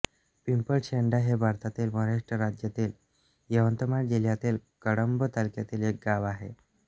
पिंपळशेंडा हे भारतातील महाराष्ट्र राज्यातील यवतमाळ जिल्ह्यातील कळंब तालुक्यातील एक गाव आहे